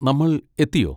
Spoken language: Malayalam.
നമ്മൾ എത്തിയോ?